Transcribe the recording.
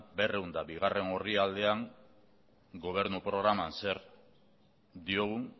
berrehun eta bigarrena orrialdean gobernu programan zer diogun